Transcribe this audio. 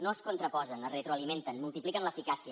no es contraposen es retroalimenten multipliquen l’eficàcia